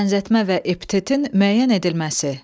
Bənzətmə və epitetin müəyyən edilməsi.